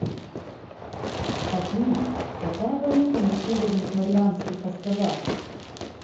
афина какая валюта на северных марианских островах